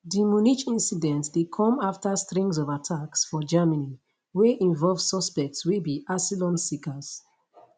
di munich incident dey come afta string of attacks for germany wey involve suspects wey be asylum seekers